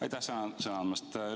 Aitäh sõna andmast!